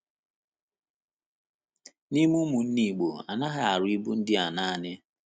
N’ime ụmụnna Igbo, a naghị arụ ibu ndị a naanị.